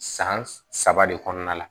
San saba de kɔnɔna la